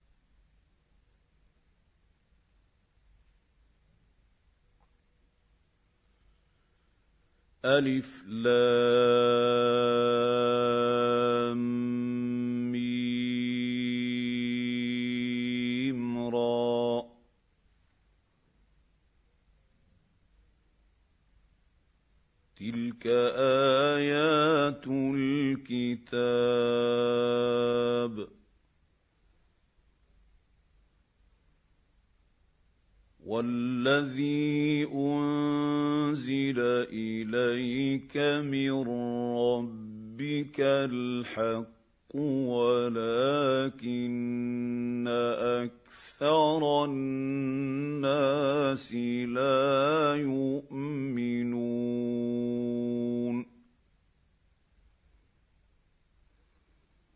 المر ۚ تِلْكَ آيَاتُ الْكِتَابِ ۗ وَالَّذِي أُنزِلَ إِلَيْكَ مِن رَّبِّكَ الْحَقُّ وَلَٰكِنَّ أَكْثَرَ النَّاسِ لَا يُؤْمِنُونَ